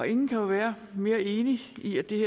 ingen kan være mere enig i at det